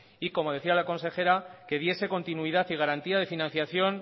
y como decía la consejera que diese continuidad y garantía de financiación